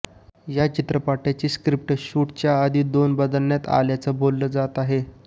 या चित्रपटाची स्क्रीप्ट शूटच्या आधी दोन बदलण्यात आल्याचं बोललं जातं आहे